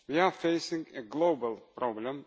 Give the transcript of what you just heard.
We are facing a global problem.